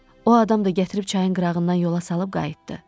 O adam da gətirib çayın qırağından yola salıb qayıtdı.